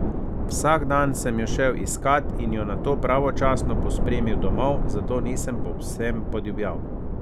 Vsak dan sem jo šel iskat in jo nato pravočasno pospremil domov, zato nisem povsem podivjal.